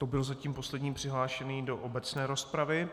To byl zatím poslední přihlášený do obecné rozpravy.